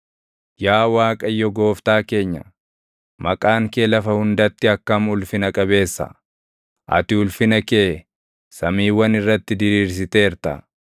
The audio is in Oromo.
Yaa Waaqayyo Gooftaa keenya, maqaan kee lafa hundatti akkam ulfina qabeessa! Ati ulfina kee samiiwwan irratti diriirsiteerta.